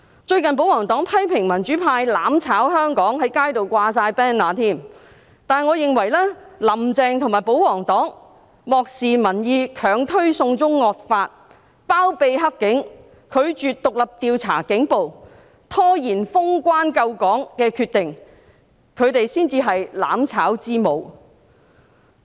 最近保皇黨批評民主派"攬炒"香港，在街上掛滿 banner， 但我認為"林鄭"和保皇黨漠視民意，強推"送中惡法"，包庇黑警，拒絕獨立調查警暴，拖延封關救港的決定，他們才是"攬炒之母"。